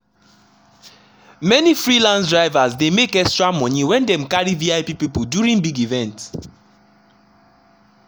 many freelance drivers dey make extra money when dem carry vip people during big events.